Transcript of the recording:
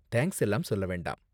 Thanks எல்லாம் சொல்ல வேண்டாம்.